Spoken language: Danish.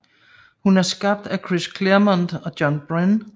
Hun er skabt af Chris Claremont og John Byrne